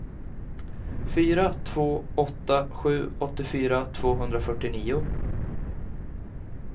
fyra två åtta sju åttiofyra tvåhundrafyrtionio